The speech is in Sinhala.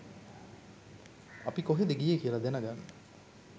අපි කොහෙද ගියේ කියල දැනගන්න